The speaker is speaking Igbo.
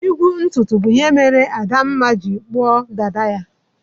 Igwu ntutu bụ ihe mere Adanma ji kpuo dada ya.